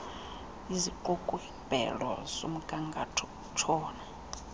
isiqukumbelo somgangatho utshona